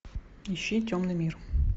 ищи темный мир